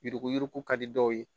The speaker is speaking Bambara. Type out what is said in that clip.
Yuruku yuruku yuruku ka di dɔw ye